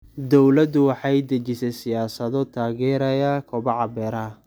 Dawladdu waxay dejisaa siyaasado taageeraya kobaca beeraha.